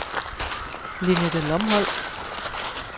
Lenette Lomholt